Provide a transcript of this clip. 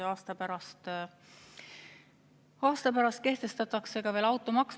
Aasta pärast kehtestatakse ka veel automaks.